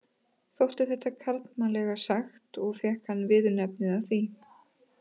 Þótti þetta karlmannlega sagt og fékk hann viðurnefnið af því.